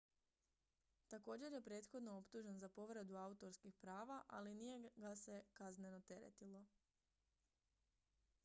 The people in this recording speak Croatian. također je prethodno optužen za povredu autorskih prava ali nije ga se kazneno teretilo